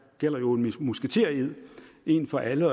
jo en musketered en for alle